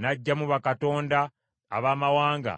N’aggyamu bakatonda abamawanga